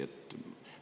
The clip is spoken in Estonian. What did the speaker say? Rääkige pisut …